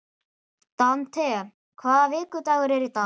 Dante, hvaða vikudagur er í dag?